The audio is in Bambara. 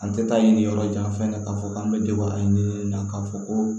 An tɛ taa nin yɔrɔ jan fɛ k'a fɔ k'an bɛ na k'a fɔ ko